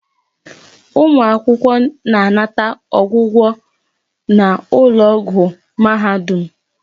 Ụmụ akwụkwọ na-anata ọgwụgwọ n'ụlọ ọgwụ mahadum.